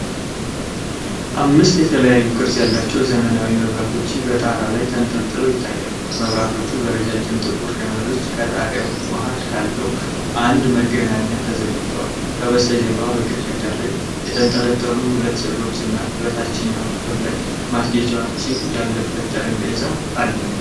አምስት የተለያዩ ቅርጽ ያላቸው የዘመናዊ መብራቶች በጣራ ላይ ተንጠልጥለው ይታያሉ። መብራቶቹ በረጃጅም ጥቁር ገመዶች ከጣሪያው መሃል ካለው አንድ ማገናኛ ተዘርግተዋል። ከበስተጀርባ በግድግዳ ላይ የተንጠለጠሉ ሁለት ሥዕሎችና በታችኛው ክፍል ላይ ማስጌጫዎች ያለበት ጠረጴዛ አለ።